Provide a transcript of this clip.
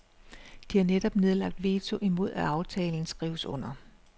De har netop nedlagt veto imod at aftalen skrives under.